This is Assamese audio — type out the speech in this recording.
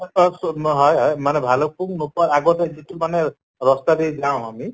হয় হয় মানে ভালুক্পুং নোপোৱাৰ আগতে যিটো মানে ৰস্তাদি যাওঁ আমি